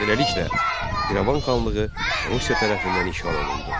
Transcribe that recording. Beləliklə, İrəvan xanlığı Rusiya tərəfindən işğal olundu.